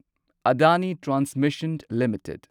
Adani transmission limited